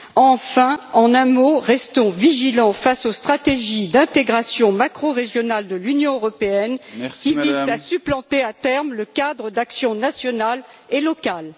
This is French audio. Enfin, en un mot, restons vigilants face aux stratégies d'intégration macrorégionales de l'Union européenne, qui visent à supplanter à terme le cadre d'actions nationales et locales.